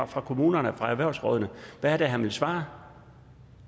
fra kommunerne fra erhvervsrådene hvad er det han vil svare